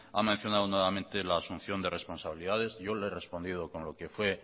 ha mencionada nuevamente la asunción de responsabilidades yo le he respondido con lo que fue